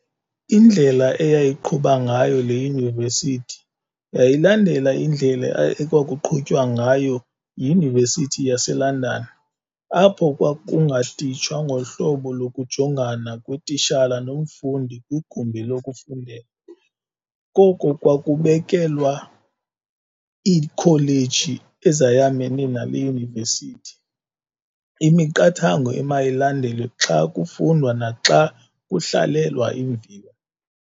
Indlela eyayiqhuba ngayo le Yunivesithi yayilandela indlela ekwakuqhutywa ngayo yiYunivesithi yaseLondon, apho kwakungatitshwa ngohlobo lokujongana kwetitshala nomfundi kwigumbi lokufundela. Koko kwakubekelwa iikholeji ezayamene nale Yunivesithi, imiqathango emayilandelwe xa kufundwa naxa kuhlalelwa iimviwo.